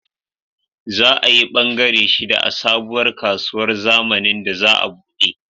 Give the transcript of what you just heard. Za ayi bangare shida a sabuwar kasuwar zamanin da za a buɗe